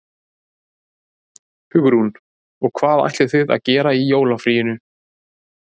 Hugrún: Og hvað ætlið þið að gera í jólafríinu?